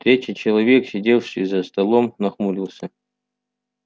третий человек сидевший за столом нахмурился